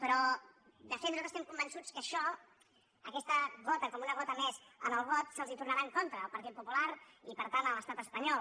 però de fet nosaltres estem convençuts que això aquesta gota com una gota més al got se’ls tornarà en contra al partit popular i per tant a l’estat espanyol